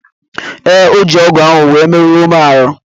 Ee, o ji ọ́gụ̀ ahụ wee merụọ m ahụ́.